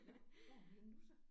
Nåh hvor er hun henne nu så?